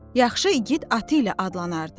Yaxşı igid atı ilə adlanardı.